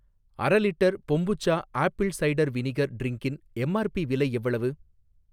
அரலிட்டர் kombucha apple cider vinegar ட்ரின்க்கின் M R P விலை எவ்வளவு?